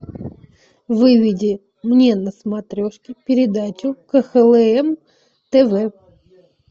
выведи мне на смотрешке передачу кхлм тв